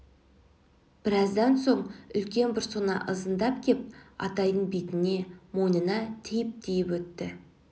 біраздан соң үлкен бір сона ызындап кеп атайдын бетіне мойнына тиіп-тиіп өтті